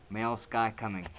male sky coming